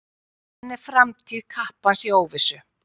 Enn er framtíð kappans í óvissu.